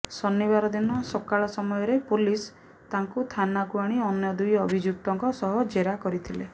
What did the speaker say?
ଶନିବାର ଦିନ ସକାଳ ସମୟରେ ପୋଲିସ ତାଙ୍କୁ ଥାନାକୁ ଆଣି ଅନ୍ୟ ଦୁଇ ଅଭିଯୁକ୍ତଙ୍କ ସହ ଜେରା କରିଥିଲେ